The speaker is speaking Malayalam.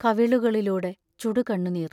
കവിളുകളിലൂടെ ചുടുകണ്ണുനീർ.